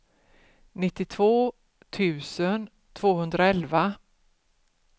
nittiotvå tusen tvåhundraelva